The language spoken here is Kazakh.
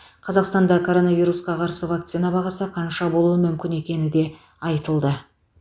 қазақстанда коронавирусқа қарсы вакцина бағасы қанша болуы мүмкін екені де айтылды